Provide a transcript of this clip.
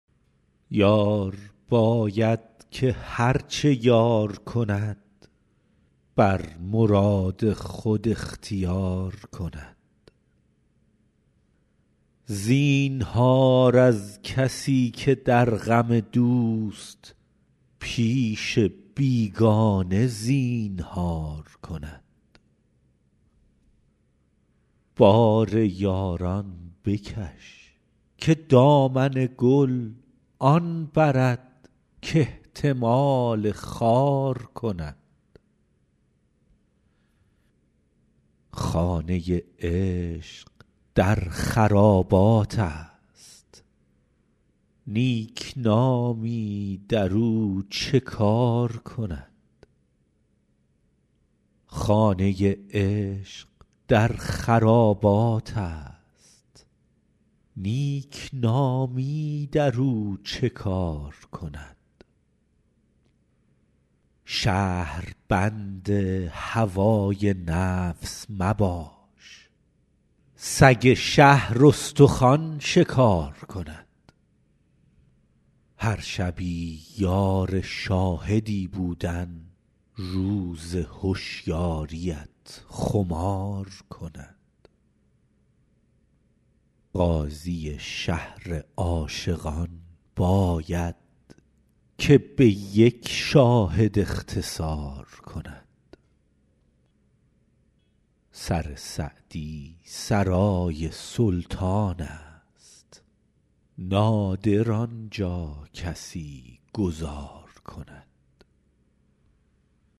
یار باید که هر چه یار کند بر مراد خود اختیار کند زینهار از کسی که در غم دوست پیش بیگانه زینهار کند بار یاران بکش که دامن گل آن برد کاحتمال خار کند خانه عشق در خراباتست نیکنامی در او چه کار کند شهربند هوای نفس مباش سگ شهر استخوان شکار کند هر شبی یار شاهدی بودن روز هشیاریت خمار کند قاضی شهر عاشقان باید که به یک شاهد اختصار کند سر سعدی سرای سلطانست نادر آن جا کسی گذار کند